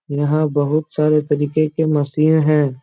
यहाँ बहुत सारे तरीके के मसीन हैं।